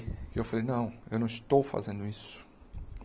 E eu falei, não, eu não estou fazendo isso.